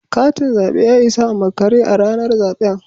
Katin zabe ya isa a makare a ranar zaben